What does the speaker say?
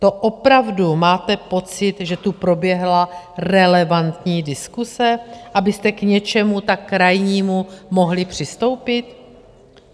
To opravdu máte pocit, že tu proběhla relevantní diskuse, abyste k něčemu tak krajnímu mohli přistoupit?